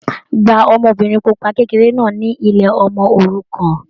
Gba ọmọbìnrin pupa kékeré náà ni ilé ọmọ òrukàn.